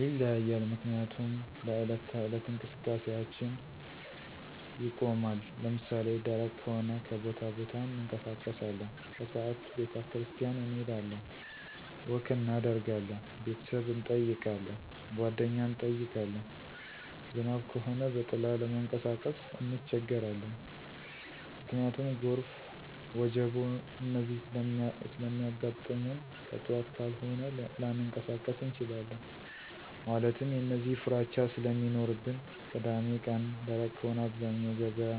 ይለያያል ምክንያቱም ለዕለት ተዕለት እንቀስቃሴአችን ይቆማን። ለምሳሌ ደረቅ ከሆነ ከቦታቦታ እንቀሳቀሳለን። ከስዓት ቤተክርስቲያን እንሄዳለን፣ ወክ እናደርጋለን፣ ቤተሰብ እንጠይቃለን፣ ጓደኛ እንጠይቃለን። ዝናብ ከሆነ በጥላ ለመንቀሳቀስ እንቸገራለን። ምክንያቱም ጎርፍ፣ ወጀቦ፣ እነዚህ ስለሚያጋጥሙንከጥዋት ካልሆነ ላንቀሳቀስ እንችላለን። ማለትም የእነዚህ ፍራቻ ስለሚኖርብን። ቅዳሜቀን ደረቅ ከሆነ አብዛኛው ገበያ